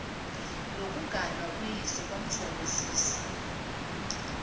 lokuganwa kuyise kwamthokozisa